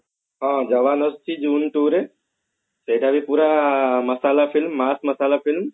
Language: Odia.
ହଁ ଯବାନ ଆସୁଛି June two ରେ ସେଇଟା ବି ପୁରା ମସଲା film ମସ୍ତ ମସଲା film